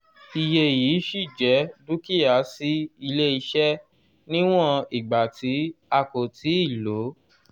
iye yii ṣí jẹ́ dúkìá sí ilé-iṣẹ níwọ̀n ìgbà tí a kò ti lo